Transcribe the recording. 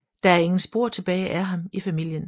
Der er ingen spor tilbage af ham i familien